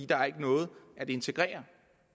der er ikke noget at integrere